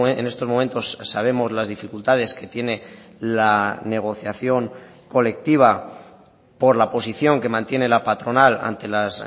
en estos momentos sabemos las dificultades que tiene la negociación colectiva por la posición que mantiene la patronal ante las